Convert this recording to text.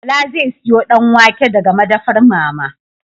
Bala zai siyo Danwake daga madafar mama